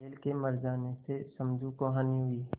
बैल के मर जाने से समझू को हानि हुई